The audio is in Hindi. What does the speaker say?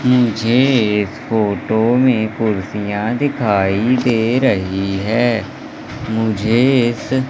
मुझे इस फोटो में कुर्सियाँ दिखाई दे रही है। मुझे इस --